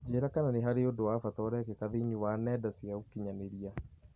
Njĩĩra kana nĩ harĩ ũndũ wa bata ũrekĩka thĩinĩ wa nenda cia ũkĩnyaniria